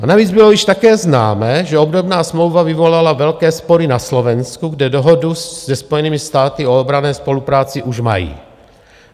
A navíc bylo již také známé, že obdobná smlouva vyvolala velké spory na Slovensku, kde dohodu se Spojenými státy o obranné spolupráci už mají.